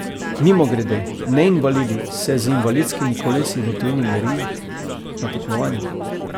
Mimogrede, neinvalidi se z invalidskimi kolesi v tujini merijo na tekmovanjih.